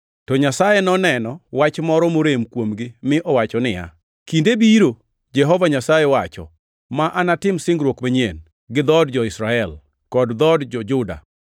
To Nyasaye noneno wach moro morem kuomgi mi owacho niya, “Kinde biro, Jehova Nyasaye wacho, ma anatim singruok manyien, gi dhood jo-Israel kod dhood jo-Juda.